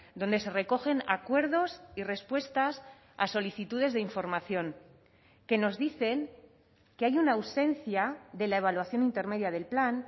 donde se recogen acuerdos y respuestas a solicitudes de información que nos dicen que hay una ausencia de la evaluación intermedia del plan